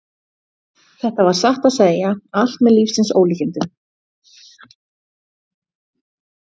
Þetta var satt að segja allt með lífsins ólíkindum.